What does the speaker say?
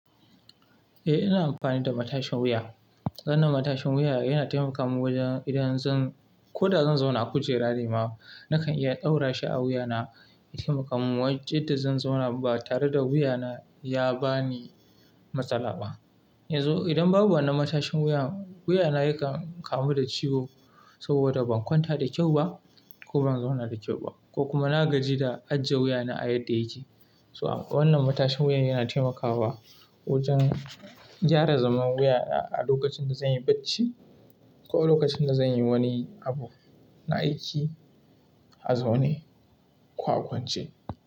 Eh, ina amfani da matashin wuya. Wannan matashin wuya yana taimaka min wajen idan zan, ko da zan zauna a kujera ne ma, nakan iya daura shi a wuyana ya taimaka min wacce da zan zauna ba tare da wuyana ya ba ni matsala ba. Yanzu idan babu wannan matashin wuya, wuyana yakan kamu da ciwo saboda ban kwanta da kyau ba ko ban zauna da kyau ba ko kuma na gaji da ajiye wuyana a yadda yake. To wannan matashin wuya yana taimakawa wajen gyara zaman wuyana a lokacin da zan yi bacci ko a lokacin da zan yi wani abu na aiki a zaune ko a kwance.